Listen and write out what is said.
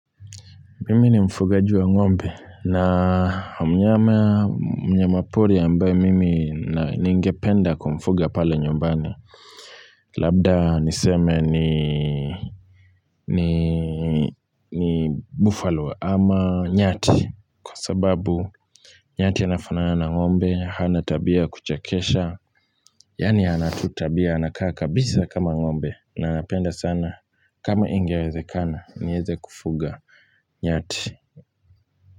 Mimi nimfugaji wa ngombe na mnyama pori ambaye mimi ningependa kumfuga pale nyumbani. Labda niseme ni buffalo ama nyati kwa sababu nyati anafanana ngombe, hanatabia kuchekesha. Yaani ana tu tabia, anakaa kabisa kama ngombe na anapenda sana kama ingewezekana, nieze kufuga nyati.